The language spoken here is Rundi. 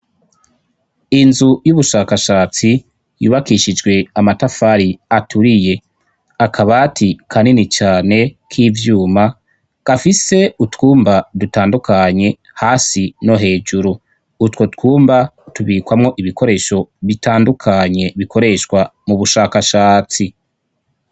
Inzu y'ubushakashatsi, yubakishijwe amatafari aturiye, akabati kanini cane k'ivyuma, gafise utwumba dutandukanye hasi no hejuru, utwo twumba tubikwamo ibikoresho bitandukanye bikoreshwa mu bushakashatsi.